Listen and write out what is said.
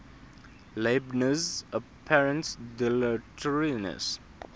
leibniz's apparent dilatoriness